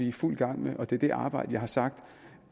i fuld gang med og det er det arbejde som jeg har sagt